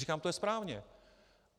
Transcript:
Říkám, to je správně.